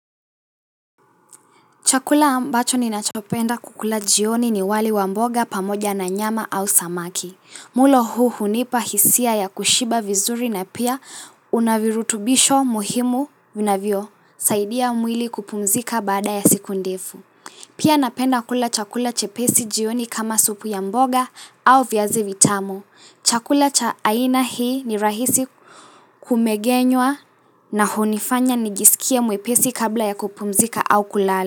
Chakula ambacho ninachopenda kukula jioni ni wali wa mboga pamoja na nyama au samaki. Mlo huu hunipa hisia ya kushiba vizuri na pia unavirutubisho muhimu vinavyo. Saidia mwili kupumzika bada ya siku ndifu. Pia napenda kula chakula chepesi jioni kama supu ya mboga au viazi vitamu. Chakula cha aina hii ni rahisi kumegenywa na hunifanya nijisikie mwepesi kabla ya kupumzika au kulala.